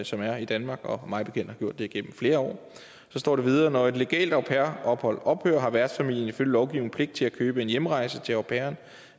som er i danmark og har mig bekendt gjort det igennem flere år så står der videre når et legalt au pair ophold ophører har værtsfamilien ifølge lovgivningen pligt til at købe en hjemrejse til au pairen